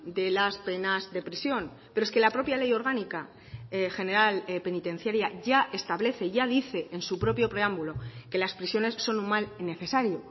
de las penas de prisión pero es que la propia ley orgánica general penitenciaria ya establece ya dice en su propio preámbulo que las prisiones son un mal necesario